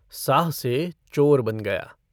साह से चोर बन गया।